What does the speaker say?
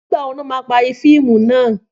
Nígbàwo ni wọ́n máa parí fíìmù náà?